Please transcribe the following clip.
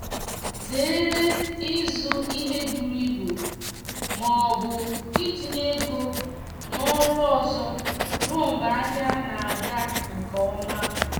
zere ịzụ ihe buru ibu ma ọbụ itinye ego na oru ọzọ ruo mgbe ahịa na aga nke ọma